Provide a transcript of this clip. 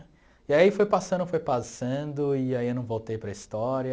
E aí foi passando, foi passando, e aí eu não voltei para a história.